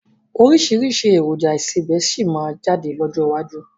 Oríṣiríṣi èròjà ìsebẹ́ síí má jáde lọ́jọ́ iwájú